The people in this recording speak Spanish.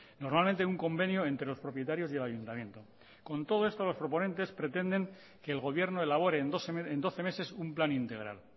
normalmente un convenio entre los propietarios y el ayuntamiento con todo esto los proponentes pretenden que el gobierno elabore en doce meses un plan integral